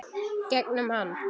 Gegnum hann.